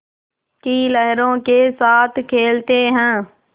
की लहरों के साथ खेलते हैं